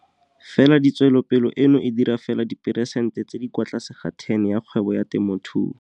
Fela tswelopele eno e dira fela diperesente tse di kwa tlase ga 10 ya kgwebo ya temothuo.